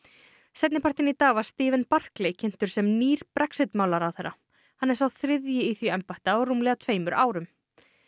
seinnipartinn í dag var Stephen kynntur sem nýr Brexit mála ráðherra hann er sá þriðji í því embætti á rúmlega tveimur árum